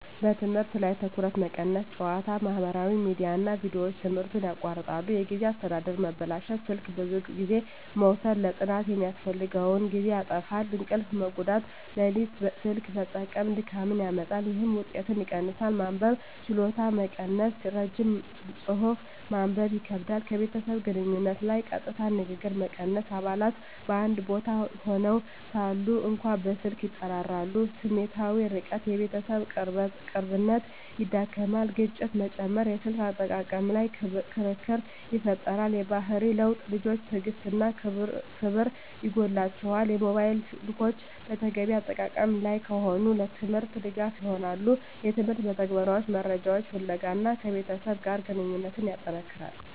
በትምህርት ላይ ትኩረት መቀነስ ጨዋታ፣ ማህበራዊ ሚዲያ እና ቪዲዮዎች ትምህርትን ያቋርጣሉ። የጊዜ አስተዳደር መበላሸት ስልክ ብዙ ጊዜ መውሰድ ለጥናት የሚያስፈልገውን ጊዜ ያጣፋፋል። እንቅልፍ መጎዳት ሌሊት ስልክ መጠቀም ድካምን ያመጣል፣ ይህም ውጤትን ይቀንሳል። መንበብ ችሎታ መቀነስ ረጅም ጽሑፍ ማንበብ ይከብዳል። ከቤተሰብ ግንኙነት ላይ ቀጥታ ንግግር መቀነስ አባላት በአንድ ቦታ ሆነው ሳሉ እንኳ በስልክ ይጠራራሉ። ስሜታዊ ርቀት የቤተሰብ ቅርብነት ይዳክመዋል። ግጭት መጨመር የስልክ አጠቃቀም ላይ ክርክር ይፈጠራል። የባህሪ ለውጥ ልጆች ትዕግሥት እና ክብር ይጎላቸዋል። ሞባይል ስልኮች በተገቢ አጠቃቀም ላይ ከሆኑ፣ ለትምህርት ድጋፍ ይሆናሉ (የትምህርት መተግበሪያዎች፣ መረጃ ፍለጋ) እና ከቤተሰብ ጋር ግንኙነትን ያጠነክራል።